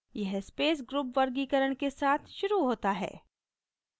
यह space group वर्गीकरण के साथ शुरू होता है